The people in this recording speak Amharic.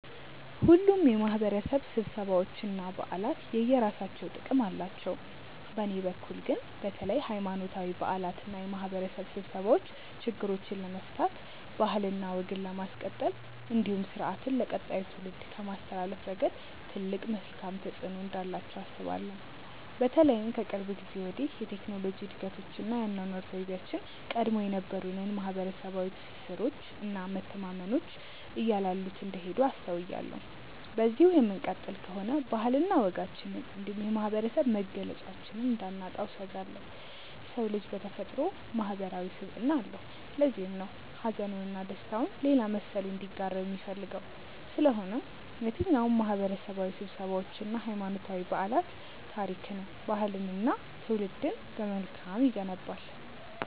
ሁሉም የማህበረሰብ ስብሰባዎች እና በዓላት የየራሳቸው ጥቅም አላቸው። በእኔ በኩል ግን በተለይ ሀይማኖታዊ በዓላት እና የማህበረሰብ ስብሰባዎች ችግሮችን ለመፍታት ባህልና ወግን ለማስቀጠል እንዲሁም ስርአትን ለቀጣዩ ትውልድ ከማስተላለፍ ረገድ ትልቅ መልካም ተፆዕኖ እንዳላቸው አስባለሁ። በተለይም ከቅርብ ጊዜ ወዲህ የቴክኖሎጂ እድገቶች እና የአኗኗር ዘይቤያችን ቀድሞ የነበሩንን ማህበረሰባዊ ትስስሮች እና መተማመኖች እያላሉት እንደሄዱ አስተውያለሁ። በዚሁ የምንቀጥል ከሆነ ባህልና ወጋችንን እንዲሁም የማህበረሰብ መገለጫችንን እንዳናጣው እሰጋለሁ። የሰው ልጅ በተፈጥሮው ማህበረሰባዊ ስብዕና አለው። ለዚህም ነው ሀዘኑን እና ደስታውን ሌላ መሰሉ እንዲጋራው የሚፈልገው። ስለሆነም የትኛውም ማህበረሰባዊ ስብሰባዎች እና ሀይማኖታዊ በዓላት ታሪክን፣ ባህልንን እና ትውልድን በመልካም ይገነባል።